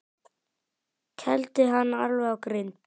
Kældu hann alveg á grind.